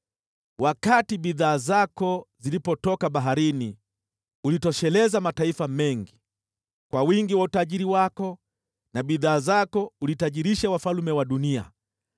Wakati bidhaa zako zilipotoka baharini, ulitosheleza mataifa mengi; kwa wingi wa utajiri wako na bidhaa zako ulitajirisha wafalme wa dunia.